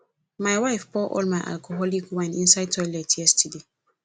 my wife pour all my alcoholic wine inside toilet yesterday